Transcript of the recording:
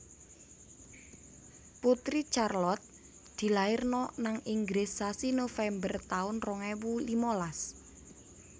Putri Charlotte dilairno nang Inggris sasi November taun rong ewu limalas